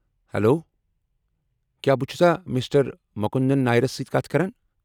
Hello! کیٛاہ بہٕ چُھسا مسٹر مکُندن نائرس سۭتۍ کتھ کران؟